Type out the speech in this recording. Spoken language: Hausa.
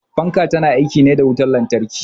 Fanka ta na aiki ne da wutar lantarki.